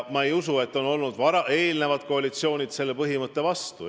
Ma ei usu, et ükski varasem koalitsioon on selle põhimõtte vastu olnud.